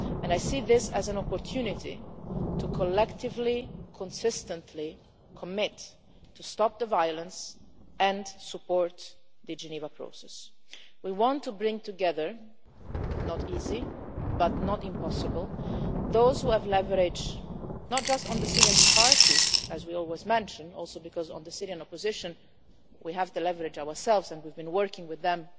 I see this as an opportunity to collectively and consistently commit to stopping the violence and supporting the Geneva process. We want to bring together it will not be easy, but nor will it be impossible those who have leverage not just on the Syrian parties, as we always mention in part because on the Syrian opposition we have the leverage ourselves and we have been working with